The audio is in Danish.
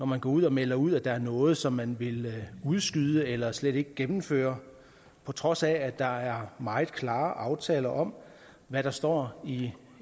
man går ud og melder ud at der er noget som man vil udskyde eller slet ikke gennemføre på trods af at der er meget klare aftaler om hvad der står i